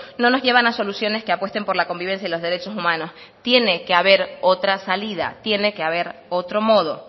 no nos llevan a soluciones que apuesten por la convivencia y los derechos humanos tiene que haber otra salida tiene que haber otro modo